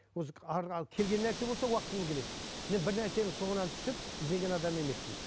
осы келген нәрсе болса уақытымен келеді мен бір нәрсенің соңынан түсіп ізденген адам емеспін